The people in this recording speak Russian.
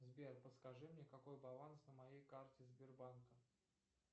сбер подскажи мне какой баланс на моей карте сбербанка